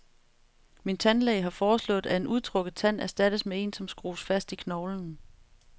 Min tandlæge har foreslået, at en udtrukket tand erstattes med en, som skrues fast i knoglen.